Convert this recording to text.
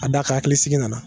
A d'a kan hakilisigi nana